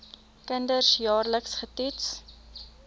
kinders jaarliks getoets